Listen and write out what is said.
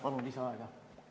Palun lisaaega!